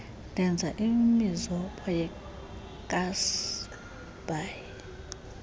ndenza imizobo yekassiesbaai